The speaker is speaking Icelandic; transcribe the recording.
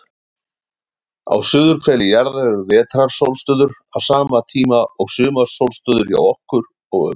Á suðurhveli jarðar eru vetrarsólstöður á sama tíma og sumarsólstöður hjá okkur, og öfugt.